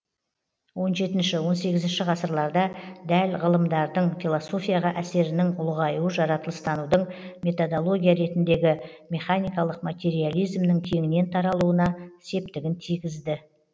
он жетінші он сегізінші ғасырларда дәл ғылымдардың философияға әсерінің ұлғаюы жаратылыстанудың методология ретіндегі механикалық материализмнің кеңінен таралуына септігін тигізді